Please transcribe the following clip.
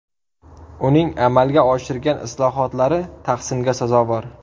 Uning amalga oshirgan islohotlari tahsinga sazovor.